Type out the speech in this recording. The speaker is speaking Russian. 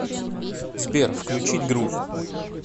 сбер включить грув